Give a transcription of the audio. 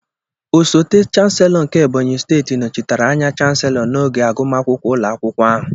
Osote Chancellor nke Ebonyi steeti nọchitere anya Chancellor n'oge agụmakwụkwọ ụlọ akwụkwọ ahụ.